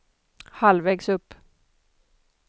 halvvägs upp